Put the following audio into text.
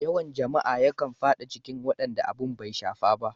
Yawan jama'a yakan fada cikin wadanda abin ya shafa.